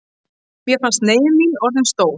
Mér fannst neyð mín orðin stór.